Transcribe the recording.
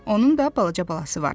Onun da balaca balası var.